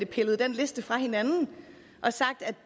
pillet den liste fra hinanden og sagt at